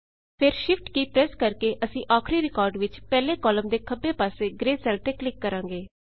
ਫੇਟ ਸ਼ਿਫਟ ਕੀ ਪ੍ਰੈਸ ਕਰਕੇ ਅਸੀਂ ਆਖ਼ਰੀ ਰਿਕਾਰਡ ਵਿੱਚ ਪਹਿਲੇ ਕਾਲਮ ਦੇ ਖੱਬੇ ਪਾਸੇ ਗ੍ਰੇ ਸੈਲ ਤੇ ਕਲਿੱਕ ਕਰਾਂਗੇ